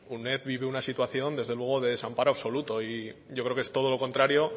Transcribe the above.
uned vive una situación desde luego de desamparo absoluto y yo creo que es todo lo contrario